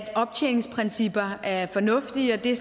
at optjeningsprincipper er fornuftige og det er